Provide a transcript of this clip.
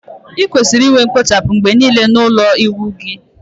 Ị kwesịrị inwe kpochapu mgbe niile n'ime ụlọ ịwụ gị